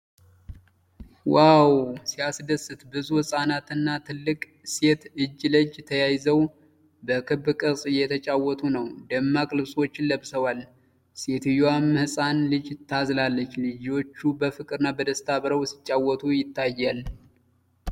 ዋው ሲያስደስት! ብዙ ህጻናትና ትልቅ ሴት እጅ ለእጅ ተያይዘው በክብ ቅርጽ እየተጫወቱ ነው። ደማቅ ልብሶችን ለብሰዋል፤ ሴትየዋም ህፃን ልጅ ታዝላለች። ልጆቹ በፍቅርና በደስታ አብረው ሲጫወቱ ይታያል።